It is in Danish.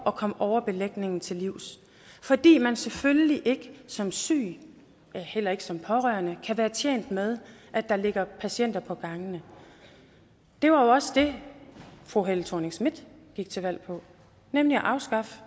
at komme overbelægningen til livs fordi man selvfølgelig ikke som syg ja heller ikke som pårørende kan være tjent med at der ligger patienter på gangene det var jo også det fru helle thorning schmidt gik til valg på nemlig at afskaffe